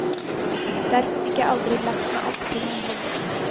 Derfor fikk jeg aldri lagt meg opp til noen hobby.